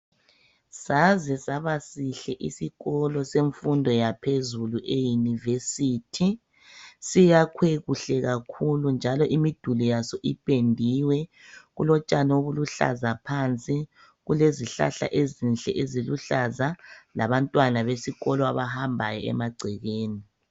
Saze saba sihle isikolo semfundo yaphezulu e University. Siyakhwe kuhle kakhulu njalo imiduli yaso iphendiwe. Kulotshani obuluhlaza phansi. Kulezihlahla ezinhle eziluhlaza labantwana besikolo abahambayo emagcekeni.